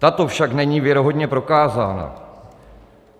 Tato však není věrohodně prokázána.